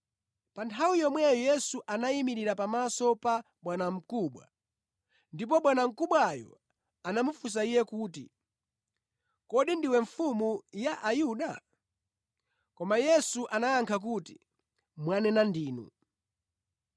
Pa nthawi yomweyo Yesu anayimirira pamaso pa bwanamkubwa ndipo bwanamkubwayo anamufunsa Iye kuti, “Kodi ndiwe Mfumu ya Ayuda?” Koma Yesu anayankha kuti, “Mwanena ndinu.”